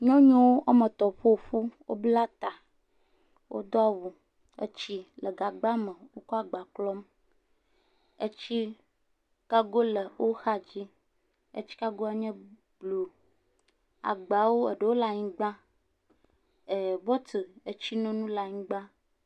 Nyɔnu woame etɔ̃ fɔ fu. Wobla ta, wodo awu, etsi le gagba me wokɔ agba klɔm, etsi gago le wo xadzi, etsigagoe nye blu. Agbawo, ɖewo le anyigba er er bɔtle, tsinono le anyigba.